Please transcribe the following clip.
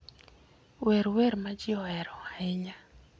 wer wer ma ji ohero ahinya